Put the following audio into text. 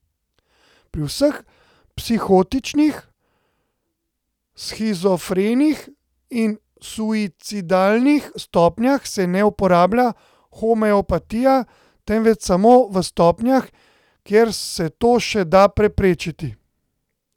Pri vseh psihotičnih, shizofrenih in suicidalnih stopnjah se ne uporablja homeopatije, temveč samo v stopnjah, kjer se to še da preprečiti.